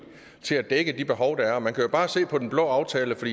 til at dække de behov der er man kan jo bare se på den blå aftale for